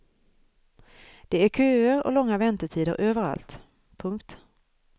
Det är köer och långa väntetider överallt. punkt